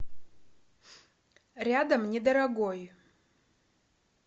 рядом недорогой